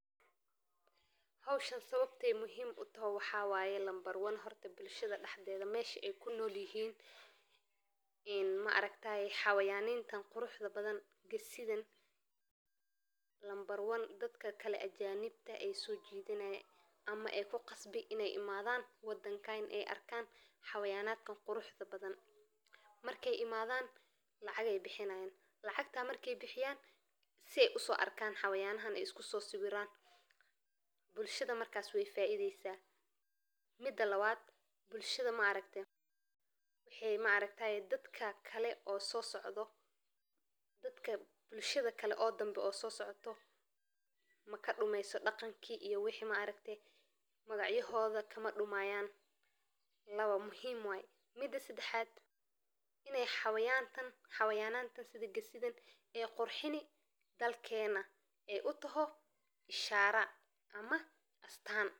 Waa nooc xoolo oo caan ku ah beeraha Maraykanka, Kanada, iyo waddamo kale oo badan, taas oo ay ku caan yihiin hilibkooda macaan, nadiifka ah, oo aan dux lahayn, iyo sida ay u dhaqmaan deegaano kala duwan, gaar ahaan gobolada qabow, sababtoo ah ay tahay xoolo adag oo awood u leh inay iskaga dhigto cimilada adag, waxayna u badan yihiin ganacsiga beeraha sababtoo ah ay leeyihiin ficil dheer oo si dhakhso leh u soo korodha, iyadoon u baahnayn daryeel dheeraad ah, waxayna ku kala duwan yihiin midabkooda madoow oo aan lahayn wax calaamado ah.